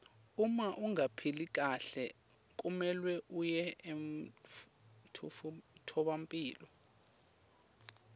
uma ungaphili kahle kumelwe uye emtfolampilo